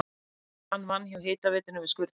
Hann vann hjá hitaveitunni við skurðgröft.